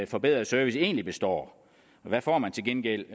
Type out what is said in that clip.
forbedrede service egentlig består hvad får man til gengæld